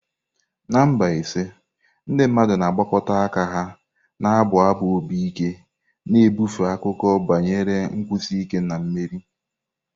Na Mbaise, ndị mmadụ na-agbakọta ka ha na-abụ abụ obi ike, na-ebufe akụkọ banyere nkwụsi ike na mmeri.